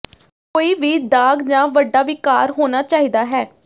ਕੋਈ ਵੀ ਦਾਗ਼ ਜਾਂ ਵੱਡਾ ਵਿਕਾਰ ਹੋਣਾ ਚਾਹੀਦਾ ਹੈ